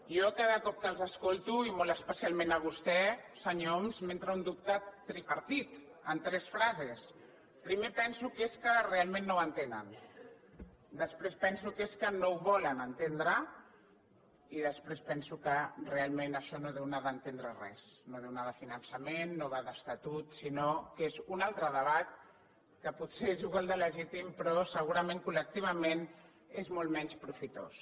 a mi cada cop que els escolto i molt especialment a vostè senyor homs m’entra un dubte tripartit en tres frases primer penso que és que realment no ho en tenen després penso que és que no ho volen entendre i després penso que realment això no deu anar d’entendre res no deu anar de finançament no va d’estatut sinó que és un altre debat que potser és igual de legítim però segurament col·lectivament és molt menys profitós